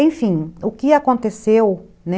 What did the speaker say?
Enfim, o que aconteceu, né?